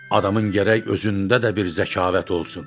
Adamın gərək özündə də bir zəkaət olsun.